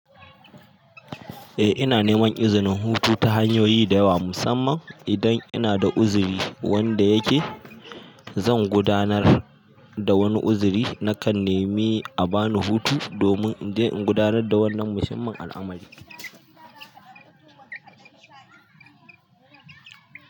Eh ina neman izinin hutu ta hanyoyi da yawa musamman idan ina da uziri wanda yake zan gudanar da wani uziri nakan nemi a bani hutu domin in je in gudanar da wannan muhimman al'amarin.